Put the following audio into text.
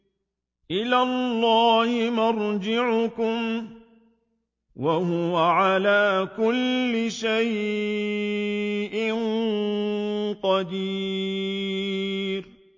إِلَى اللَّهِ مَرْجِعُكُمْ ۖ وَهُوَ عَلَىٰ كُلِّ شَيْءٍ قَدِيرٌ